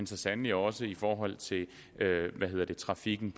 så sandelig også i forhold til trafikken